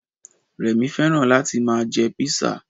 Rẹ̀mí fẹ́ràn láti ma jẹ písà